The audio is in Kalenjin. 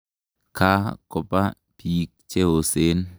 Ka kopa piik che osen.